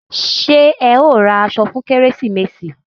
Ṣé ẹ ó ra aṣọ fún kérésìmesì?